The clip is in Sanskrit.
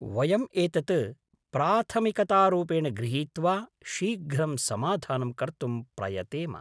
वयम् एतत् प्राथमिकतारूपेण गृहीत्वा शीघ्रं समाधानं कर्तुं प्रयतेम।